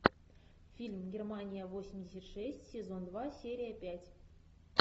фильм германия восемьдесят шесть сезон два серия пять